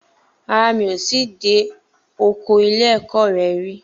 Rárá, mi ò tíì dé ọkọ ilé ẹ̀kọ́ re rí